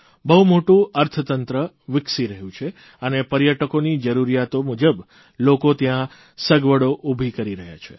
બહુ મોટું અર્થતંત્ર વિકસી રહ્યું છે અને પર્યટકોની જરૂરિયાતો મુજબ લોકો ત્યાં સગવડો ઉભી કરી રહ્યા છે